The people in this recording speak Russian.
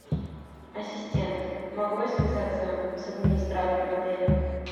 ассистент могу я связаться с администратором отеля